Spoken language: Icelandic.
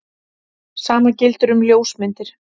Sama gildir um ljósmyndir.